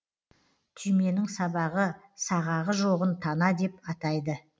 түйменің сабағы сағағы жоғын тана деп атайды